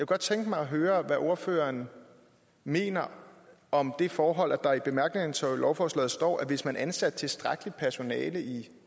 godt tænke mig at høre hvad ordføreren mener om det forhold at der i bemærkningerne til lovforslaget står at hvis man havde ansat tilstrækkeligt med personale i